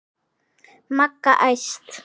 Magga æst.